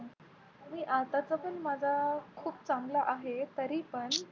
आताचं पण माझा खूप चांगला आहे तरीपण